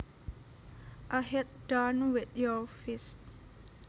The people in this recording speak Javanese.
A hit done with your fist